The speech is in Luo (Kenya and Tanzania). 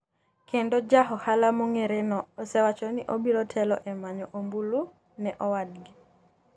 kendo ja ohala mong’ereno osewacho ni obiro telo e manyo ombulu ne owadgi.